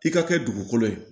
I ka kɛ dugukolo ye